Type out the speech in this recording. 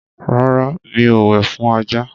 rárá, mi o wẹ̀ fún ajá.